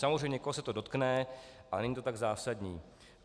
Samozřejmě někoho se to dotkne, ale není to tak zásadní.